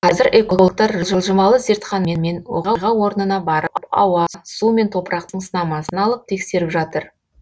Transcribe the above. қазір экологтар жылжымалы зертханамен оқиға орнына барып ауа су мен топырақтың сынамасын алып тексеріп жатыр